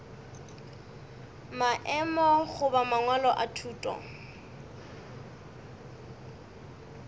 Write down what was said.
maemo goba mangwalo a thuto